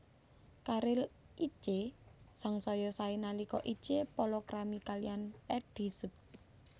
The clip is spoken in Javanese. Karir Itje sangsaya saé nalika Itje palakrami kaliyan Eddy Sud